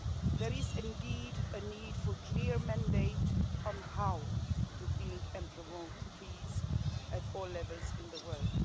There is indeed a need for a clear mandate on how to build and promote peace at all levels in the world.